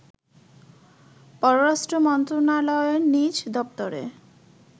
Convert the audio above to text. পররাষ্ট্র মন্ত্রণালয়ের নিজ দপ্তরে